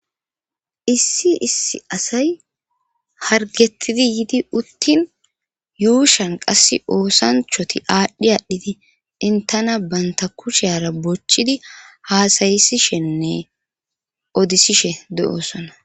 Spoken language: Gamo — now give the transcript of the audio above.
issi issi asay hargettidi yidi uttin yuushan qass oosanchoti aadhdhi aadhdhiti intana banta kusheara bochchidi haasayisishenne odisishe de7oosona